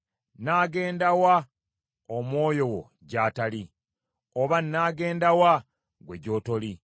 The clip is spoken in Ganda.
Nnaagenda wa Omwoyo wo gy’atali? Oba nnaagenda wa ggwe gy’otoli?